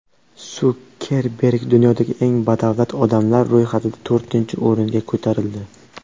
Sukerberg dunyodagi eng badavlat odamlar ro‘yxatida to‘rtinchi o‘ringa ko‘tarildi .